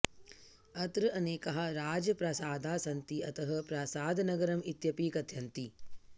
अत्र अनेकाः राजप्रासादाः सन्ति अतः प्रासादनगरम् इत्यपि कथयन्ति